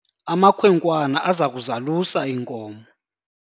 amakhwenkwana aza kuzalusa iinkomo